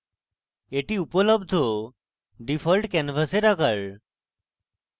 এটি উপলব্ধ ডিফল্ট ক্যানভাসের আকার